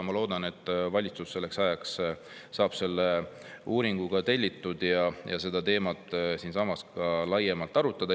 Ma loodan, et valitsus saab selleks ajaks uuringu ka tellitud ning saame seda teemat siinsamas laiemalt arutada.